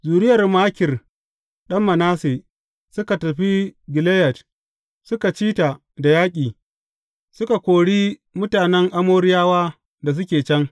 Zuriyar Makir ɗan Manasse suka tafi Gileyad, suka ci ta da yaƙi, suka kori mutanen Amoriyawa da suke can.